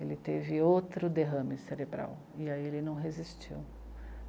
Ele teve outro derrame cerebral, e aí ele não resistiu.